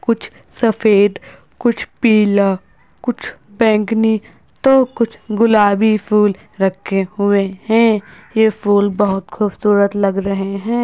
कुछ सफेद कुछ पीला कुछ बैंगनी तो कुछ गुलाबी फूल रखे हुए हैं। ये फूल बहुत खूबसूरत लग रहे हैं।